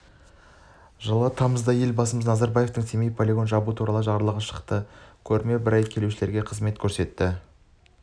жылы тамызда елбасымыз назарбаевтың семей полигонын жабу туралы жарлығы шықты көрме бір ай келушілерге қызмет көрсетеді